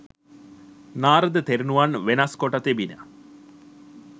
නාරද තෙරණුවන්ව වෙනස් කොට තිබිණ